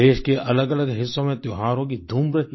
देश के अलगअलग हिस्सों में त्योहारों की धूम रही